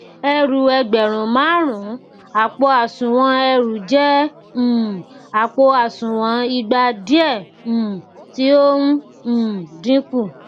ẹrú ẹgbẹrun máàrún àpò òsùnwọn ẹrù jẹ um àpò òsùnwọn ìgba diẹ um tí ó ń um dínkù